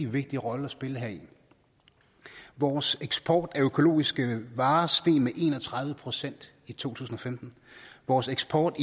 vigtig rolle at spille heri vores eksport af økologiske varer steg med en og tredive procent i to tusind og femten vores eksport